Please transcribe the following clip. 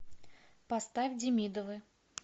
поставь демидовы